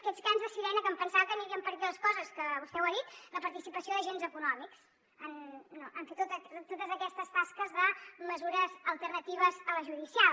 aquests cants de sirena que em pensava que anirien per aquí les coses que vostè ho ha dit la participació d’agents econòmics a fer totes aquestes tasques de mesures alternatives a la judicial